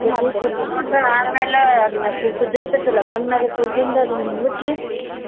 ಆಮ್ಯಾಲ ಅದ್ನ ಕು~ ಕುದ್ದಿರತೆತಿ ಅಲ್ಲ ಅದ ಹಣ್ಣಗೆ ಕುದ್ದಿಂದ ಅದನ್ನ ಮುಗುಚಿ.